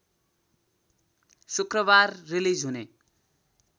शुक्रबार रिलिज हुने